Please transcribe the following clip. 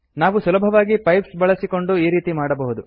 ನಾವು ಸುಲಭವಾಗಿ ಪೈಪ್ಸ್ ಬಳಸಿಕೊಂಡು ಈ ರೀತಿಯಲ್ಲಿ ಮಾಡಬಹುದು